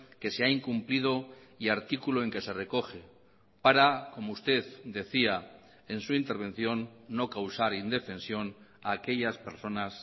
que se ha incumplido y artículo en que se recoge para como usted decía en su intervención no causar indefensión a aquellas personas